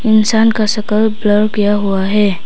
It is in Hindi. इंसान का शकल ब्लर किया हुआ है।